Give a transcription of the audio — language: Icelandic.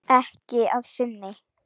Ekki að sinni.